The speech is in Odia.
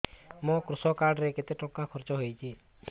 ମୋ କୃଷକ କାର୍ଡ ରେ କେତେ ଟଙ୍କା ଖର୍ଚ୍ଚ ହେଇଚି